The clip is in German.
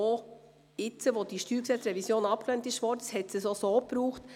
Auch jetzt, wo die Revision des Steuergesetzes (StG) abgelehnt wurde, hat es das gebraucht.